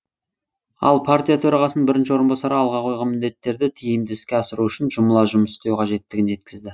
ал партия төрағасының бірінші орынбасары алға қойған міндеттерді тиімді іске асыру үшін жұмыла жұмыс істеу қажеттігін жеткізді